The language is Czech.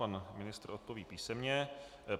Pan ministr odpoví písemně.